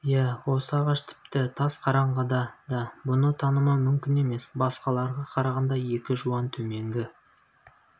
иә осы ағаш тіпті тас қараңғыда да бұны танымау мүмкін емес басқаларға қарағанда екі жуан төменгі